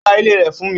Ó ta ilẹ̀ rẹ̀ fún mi.